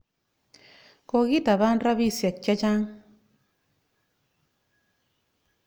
Kokitapan rapisyek che chang' .